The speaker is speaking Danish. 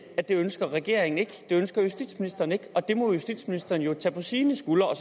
at det ønsker regeringen ikke det ønsker justitsministeren ikke og det må justitsministeren jo tage på sine skuldre